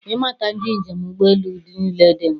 Ịmata ndị njem ụgbọ elu niile dị mkpa